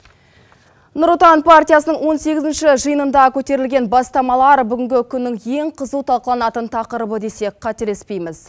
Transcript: нұр отан партиясының он сегізінші жиынында көтерілген бастамалар бүгінгі күннің ең қызу талқыланытын тақырыбы десек қателеспейміз